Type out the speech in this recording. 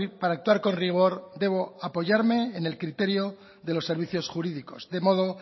para actuar con rigor debo apoyarme en el criterio de los servicios jurídicos de modo